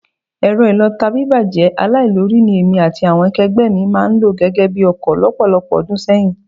Ẹ̀rọ ìlọta bíbàjẹ́ aláìlórí, ní èmi àti àwọn akẹgbẹ́ mi máa ń lò gẹ́gẹ́ bi ọkọ lọ́pọ̀lọpọ̀ ọdún sẹ́yìn